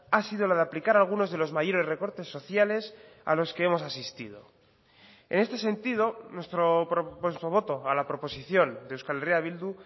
ha sido la de aplicar algunos de los mayores recortes sociales a los que hemos asistido en este sentido nuestro voto a la proposición de euskal herria bildu